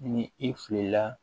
Ni i filila